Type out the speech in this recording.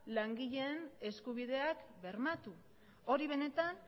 langileen eskubideak bermatu hori benetan